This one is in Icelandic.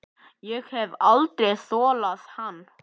Ég hef aldrei þolað hann.